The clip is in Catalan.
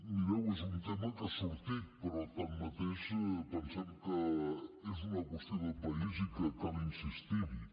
mireu és un tema que ha sortit però tanmateix pensem que és una qüestió de país i que cal insistir hi